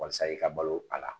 Walasa i ka balo a la